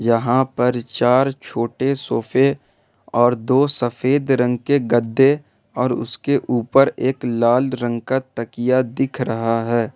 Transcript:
यहां पर चार छोटे सोफे और दो सफेद रंग के गद्दे और उसके ऊपर एक लाल रंग का तकिया दिख रहा है।